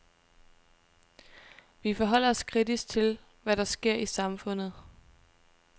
Vi forholder os kritisk til, hvad der sker i samfundet.